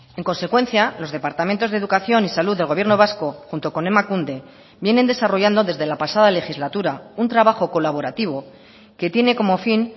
en consecuencia los departamentos de educación y salud del gobierno vasco junto con emakunde vienen desarrollando desde la pasada legislatura un trabajo colaborativo que tiene como fin